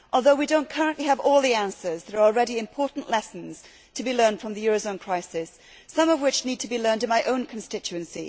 Although we do not currently have all the answers, there are already important lessons to be learned from the eurozone crisis, some of which need to be learned in my own constituency.